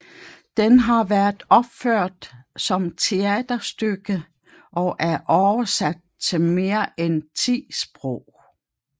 Den har været opført som teaterstykke og er oversat til mere end ti sprog